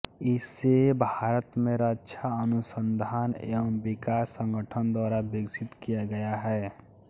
इसे भारत में रक्षा अनुसंधान एवं विकास संगठन द्वारा विकसित किया गया है